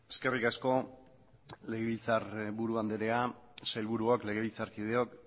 eskerrik asko legebiltzar buru anderea sailburuok legebiltzarkideok